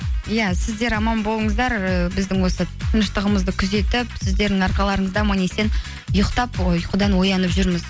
иә сіздер аман болыңыздар і біздің осы тыныштығымызды күзетіп сіздердің арқаларыңызда аман есен ұйықтап ұйқыдан оянып жүрміз